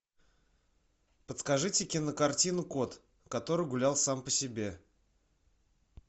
подскажите кинокартину кот который гулял сам по себе